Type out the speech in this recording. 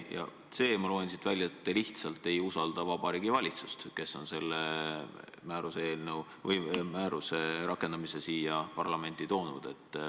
Ja c) ma loen siit välja, et te lihtsalt ei usalda Vabariigi Valitsust, kes on selle määruse rakendamise siia parlamenti toonud.